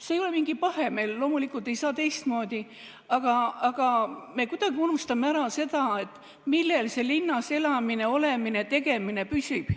See ei ole mingi pahe, me loomulikult ei saa teistmoodi, aga me kuidagi unustame ära selle, millel see linnas elamine, olemine ja tegemine püsib.